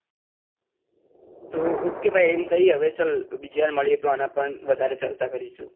તો ok ભાઈ ચલ બીજી વાર મલિએ આં પર વધારે ચર્ચા કરીશું.